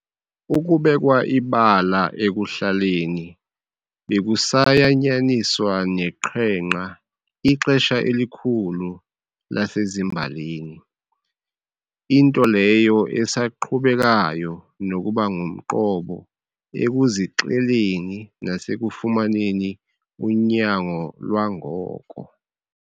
Ukubekwa ibala ekuhlaleni bekusayanyaniswa neqhenqa ixesha elikhulu lasezimbalini, into leyo esaqhubekayo nokuba ngumqobo ekuzixeleni nasekufumaneni unyango lwangoko.